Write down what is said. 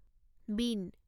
bean